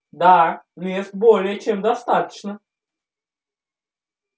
да мест более чем достаточно